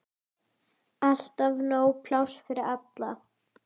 Alltaf nóg pláss fyrir alla.